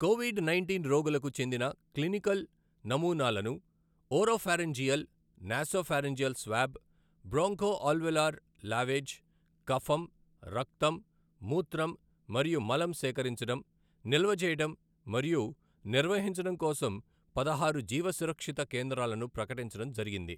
Covid nineteen రోగులకు చెందిన clinical నమూనాలను oropharyngeal nasopharyngeal swab , bronchoalveolar lavage, కఫం, రక్తం, మూత్రం మరియు మలం సేకరించడం, నిల్వ చేయడం మరియు నిర్వహించడం కోసం పదహారు జీవ సురక్షిత కేంద్రాలను ప్రకటించడం జరిగింది.